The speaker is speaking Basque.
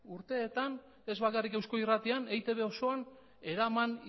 urteetan ez bakarrik eusko irratian eitb osoan eraman